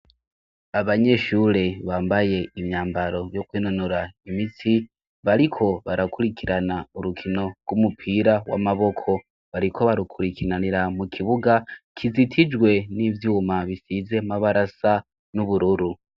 Abanyeshure bambaye imyambaro yo kwinonora imitsi, bariko barakurikirana urukino rw'umupira w'amaboko. Bariko barukurikiranira mu kibuga kizitijwe n'ivyuma bisize amabara asa n'ubururu.